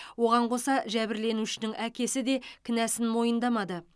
оған қоса жәбірленушінің әкесі де кінәсін мойындамады